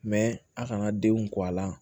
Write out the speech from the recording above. a kana denw kɔ a la